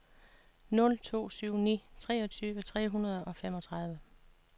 nul to syv ni treogtyve tre hundrede og femogtredive